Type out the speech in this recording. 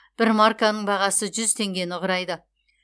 бір марканың бағасы жүз теңгені құрайды